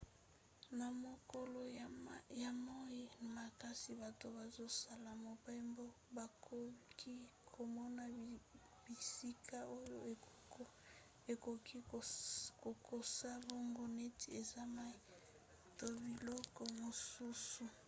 na mokolo ya moi makasi bato bazosala mobembo bakoki komona bisika oyo ekoki kokosa bango neti eza mai to biloko mosusu